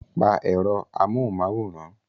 Pa èrò amóhunmáwòrán!